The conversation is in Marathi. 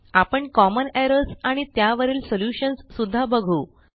आपण कॉमन एरर्स आणि त्यावरील सॉल्युशन्स सुध्दा बघू